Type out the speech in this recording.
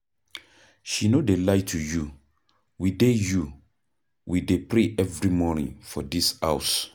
She no dey lie to you, we dey you, we dey pray every morning for dis house.